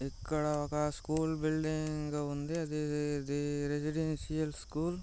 ఇక్కడ ఒక school building ఉంది ఇది ఇది రెసిడెన్షియల్ స్కూల్ .